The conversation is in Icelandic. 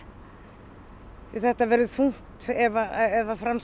því þetta verður þungt ef fram